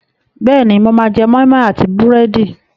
Bẹ́ẹ̀ni, mo máa jẹ́ moi moi àti búrẹ́dì.